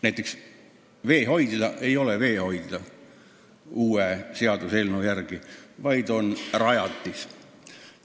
Näiteks veehoidla ei ole uue seaduseelnõu järgi veehoidla, vaid on rajatis.